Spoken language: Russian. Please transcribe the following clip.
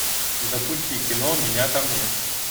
запусти кино меня там нет